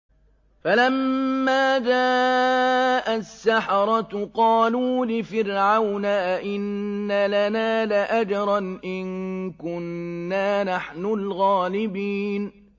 فَلَمَّا جَاءَ السَّحَرَةُ قَالُوا لِفِرْعَوْنَ أَئِنَّ لَنَا لَأَجْرًا إِن كُنَّا نَحْنُ الْغَالِبِينَ